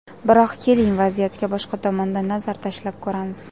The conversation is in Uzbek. Biroq, keling, vaziyatga boshqa tomondan nazar tashlab ko‘ramiz.